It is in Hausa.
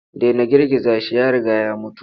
Dena girgiza shi ya riga ya mutu.